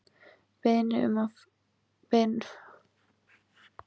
Beiðni um frest var synjað.